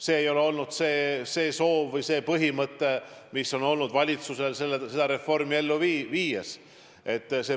See ei ole olnud eesmärk, mis valitsusel seda reformi ellu viies on.